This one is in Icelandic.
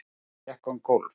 Hann gekk um gólf.